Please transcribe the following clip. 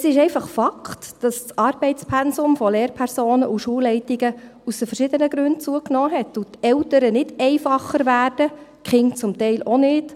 Es ist einfach ein Fakt, dass das Arbeitspensum von Lehrpersonen und Schulleitungen aus verschiedenen Gründen zugenommen hat und die Eltern nicht einfacher werden – die Kinder teilweise auch nicht.